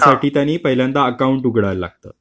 त्यासाठी त्यांनी पहिल्यांदा अकाउंट उघडायला लागतं.